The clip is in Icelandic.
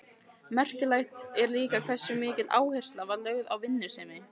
Merkilegt er líka hversu mikil áhersla var lögð á vinnusemi.